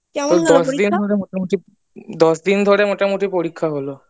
দশ দিন ধরে মোটামুটি দশ দিন ধরে মোটামুটি পরীক্ষাটা হলো